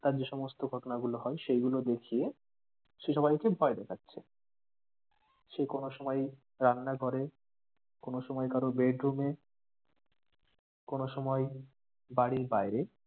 তার যে সমস্ত ঘটনা গুলো হয়, সেগুলো দেখিয়ে সে সবাইকে ভয় দেখাচ্ছে। সে কোনো সময় রান্না ঘরে, কোনো সময় কারো bedroom এ, কোনো সময় বাড়ির বাইরে,